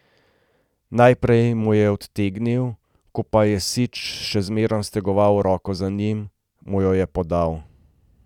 Najprej mu jo je odtegnil, ko pa je Sič še zmerom stegoval roko za njo, mu jo je podal.